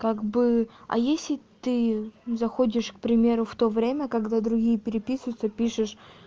как бы а если ты заходишь к примеру в то время когда другие переписывются пишешь